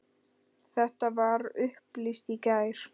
Þetta var upplýst í gær.